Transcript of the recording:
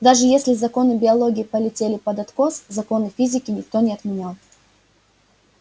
даже если законы биологии полетели под откос законы физики никто не отменял